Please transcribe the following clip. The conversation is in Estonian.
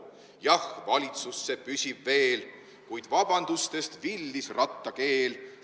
Jah, valitsus see püsib veel, kuid vabandustest villis Ratta keel.